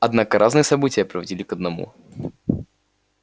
однако разные события приводили к одному